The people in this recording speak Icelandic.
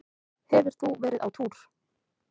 Hefur þú verið á túr?